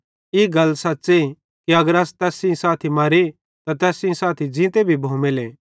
ई गल सच़्च़े कि अगर अस तैस सेइं साथी मरे त तैस साथी ज़ींते भी भोमेले